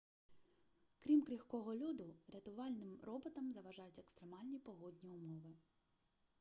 крім крихкого льоду рятувальним роботам заважають екстремальні погодні умови